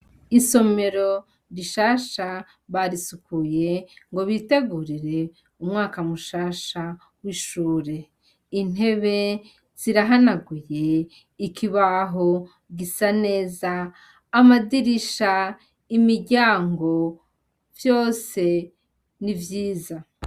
Isomero rishasha barisukuye ngo bitegurire umwaka mushasha w'ishure. Intebe zirahanaguye, ikibaho gisa neza, amadirisha, imiryango, vyose ni vyiza.